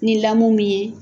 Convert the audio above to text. Ni lamu min ye.